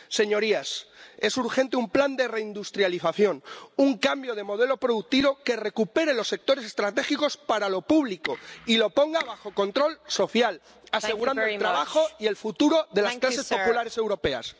Señorías, es urgente un plan de reindustrialización, un cambio de modelo productivo que recupere los sectores estratégicos para lo público y los ponga bajo control social, asegurando el trabajo y el futuro de las clases populares europeas.